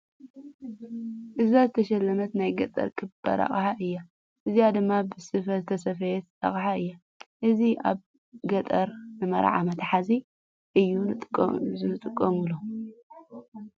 እዛ ዝተሸለመት ናይ ገጠር ክባር ሓቅሓ እያ። እዚ ድማ ብስፈ ዝተሰፈየ ኣቅሓ እዩ። እዚ ኣብ ገጠር ንመዓር መትሓዚ እዩ ዝጥቀምሎም።